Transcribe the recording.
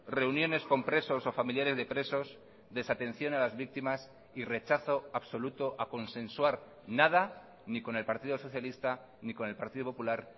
reuniones con presos o familiares de presos desatención a las víctimas y rechazo absoluto a consensuar nada ni con el partido socialista ni con el partido popular